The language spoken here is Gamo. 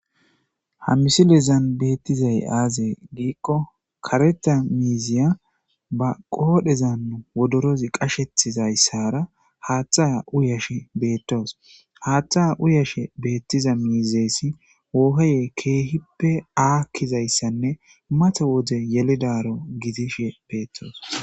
ha misilezan beettizay aazey giikko kareta miiziya ba qoodhezan wodorozi qashethizayssara haaththa uyashe beettoos haaththa uyashe beettiza miizeesi wooheye keehippe aakkizayssanne mate wode yelidaro gidishe beettoos